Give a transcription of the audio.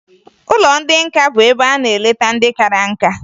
Ụlọ ndị nka bụ ebe a na-eleta ndị kara nká